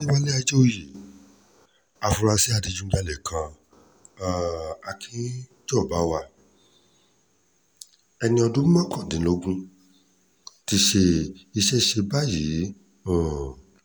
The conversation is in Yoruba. àfúrásì adigunjalè kan um akínjọbawah ẹni ọdún mọ́kàndínlógún ti ṣí iṣẹ́ ṣe báyìí o um